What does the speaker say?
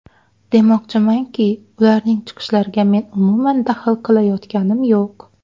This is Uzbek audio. Demoqchimanki, ularning chiqishlariga men umuman daxl qilayotganim yo‘q.